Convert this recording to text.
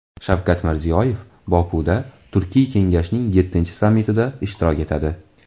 Shavkat Mirziyoyev Bokuda Turkiy kengashning yettinchi sammitida ishtirok etadi.